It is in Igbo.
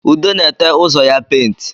Ude na-ete ụzọ ya paint